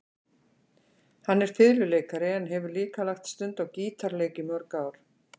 Hann er fiðluleikari en hefur líka lagt stund á gítarleik í mörg ár.